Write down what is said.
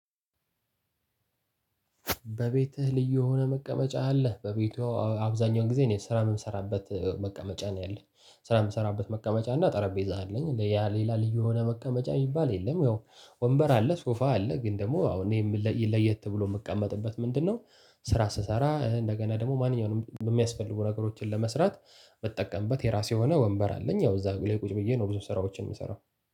በቤትህ ልዩ የሆነ መቀመጫ አለህ? በቤቷ አብዛኛውን ጊዜ እኔ ስራ የምሰራበት መቀመጫ ነው ያለኝ። ስራ የምሰራበት መቀመጫ እና ጠረጴዛ አለኝ። ሌላ ልዩ የሆነ መቀመጫ የሚባል የለም። ያው ወንበር አለ፣ ሶፋ አለ። ግን ደግሞ አዎ እኔ ለየት ተብሎ የምቀመጥበት ምንድነው? ስራ ስሰራ እንደገና ደግሞ ማንኛውንም የሚያስፈልጉ ነገሮችን ለመስራት ምጠቀምበት የራሴ የሆነ ወንበር አለኝ። ያው እዛ ላይ ቁጭ ብዬ ነው ብዙ ስራዎችን የምሰራው።